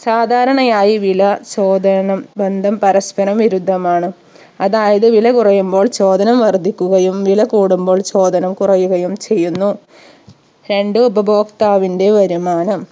സാധാരണയായി വില ചോദനം ബന്ധം പരസ്പരം വിരുദ്ധമാണ് അതായത് വില കുറയുമ്പോൾ ചോദനം വർധിക്കുകയും വില കൂടുമ്പോൾ ചോദനം കുറയുകയും ചെയ്യുന്നു രണ്ട് ഉപഭോക്താവിന്റെ വരുമാനം